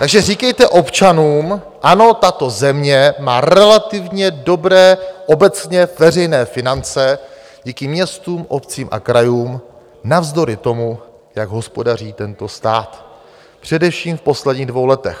Takže říkejte občanům ano, tato země má relativně dobré obecně veřejné finance díky městům, obcím a krajům, navzdory tomu, jak hospodaří tento stát, především v posledních dvou letech.